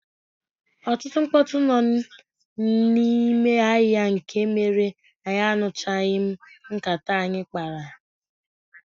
Ọtụtụ mkpọtụ nọ n'ime ahịa nke mere ia nụchaghim nkata anyị kpara.